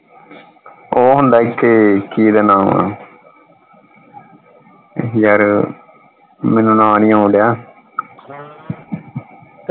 ਉਹ ਹੁੰਦਾ ਇਥੇ ਕਿ ਓਹਦਾ ਨਾਮ ਆ ਯਾਰ ਮੈਨੂੰ ਨਾਂ ਨਹੀਂ ਆਉਣ ਡੇਆ